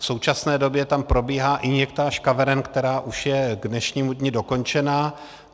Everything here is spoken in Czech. V současné době tam probíhá injektáž kaveren, která už je k dnešnímu dni dokončena.